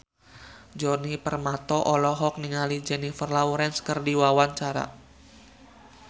Djoni Permato olohok ningali Jennifer Lawrence keur diwawancara